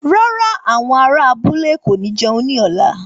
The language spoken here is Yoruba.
Rárá, àwọn ará abúlé kò ní jẹun ní ọ̀la